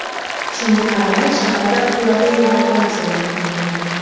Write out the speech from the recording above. Shunga qaramay, shaharda ixtiyoriy evakuatsiya e’lon qilingan.